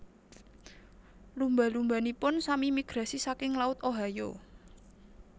Lumba lumbanipun sami migrasi saking laut Ohio